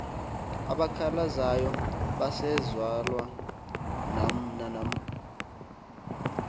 abakhalazayo basezalwa nanamhl